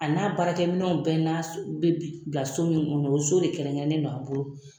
A n'a baaraminɛnw bɛɛ n'a bɛ bila so min kɔnɔ o so de kɛrɛnkɛrɛnnen don an bolo